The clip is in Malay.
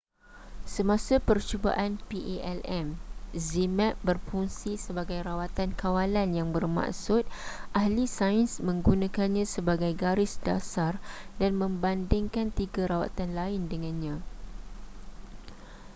semasa percubaan palm zmapp berfungsi sebagai rawatan kawalan yang bermaksud ahli sains menggunakannya sebagai garis dasar dan membandingkan tiga rawatan lain dengannya